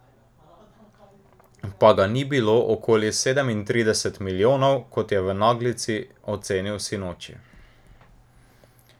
Pa ga ni bilo okoli sedemintrideset milijonov, kot je v naglici ocenil sinoči.